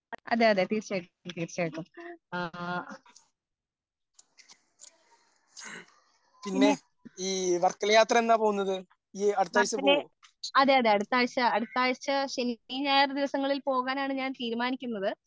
അതേ അതേ തീർച്ചയായിട്ടും തീർച്ചയായിട്ടും ആ പിന്നെ മാർച്ചില് അതേ അതേ അടുത്ത ആഴ്ച അടുത്ത ആഴ്ച ശനി, ഞായർ ദിവസങ്ങളിൽ പോകാനാണ് ഞാൻ തീരുമാനിക്കുന്നത്